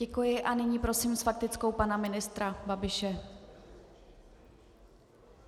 Děkuji a nyní prosím s faktickou pana ministra Babiše.